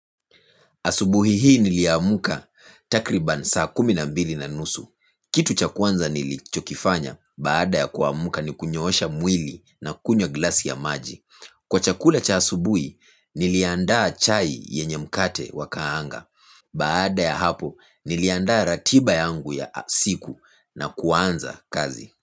Asubuhi hii niliamka takriban saa kumi na mbili na nusu. Kitu cha kwanza nilichokifanya baada ya kuamka ni kunyosha mwili na kunywa glasi ya maji. Kwa chakula cha asubuhi niliandaa chai yenye mkate wakaanga. Baada ya hapo niliandaa ratiba yangu ya siku na kuanza kazi.